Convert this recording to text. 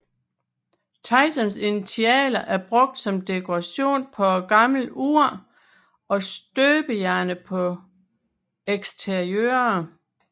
Tysons initialer er brugt som dekoration på et gammelt ur og støbejernet på eksteriøret